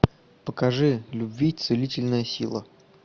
покажи любви целительная сила